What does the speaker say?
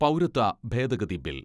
പൗരത്വ ഭേദഗതി ബിൽ